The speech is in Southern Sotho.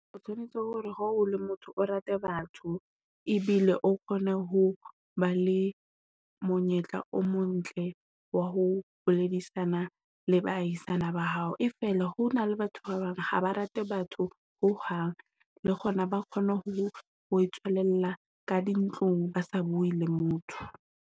O tshwanetse hore ha o le motho o rate batho ebile o kgone ho ba le monyetla o mo ntle wa ho boledisana le ba ahisana ba hao. E fela ho na le batho ba bang ha ba rate batho ho hang, le kgona ba kgone ho ho tswelella ka di ntlong, ba sa bue le motho.